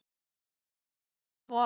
Meira af þessum toga.